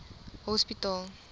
hospitaal